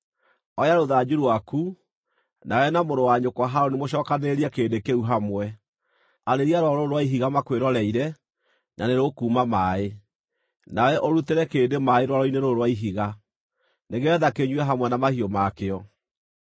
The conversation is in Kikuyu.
“Oya rũthanju rwaku, nawe na mũrũ wa nyũkwa Harũni mũcokanĩrĩrie kĩrĩndĩ kĩu hamwe. Arĩria rwaro rũrũ rwa ihiga makwĩroreire, na nĩrũkuuma maaĩ. Nawe ũrutĩre kĩrĩndĩ maaĩ rwaro-inĩ rũrũ rwa ihiga, nĩgeetha kĩnyue hamwe na mahiũ ma kĩo.”